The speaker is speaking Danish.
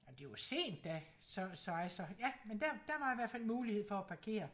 Ej men det var sent da så så altså ja men der der var i hvert fald mulighed for at parkere